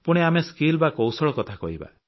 ପୁଣି ଆମେ ସ୍କିଲ୍ ବା କୌଶଳ କଥା କହିବା